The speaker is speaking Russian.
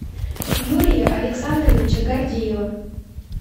юрия александровича гордеева